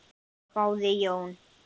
hváði Jón.